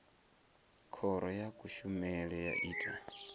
khoro ya kushemele ya ita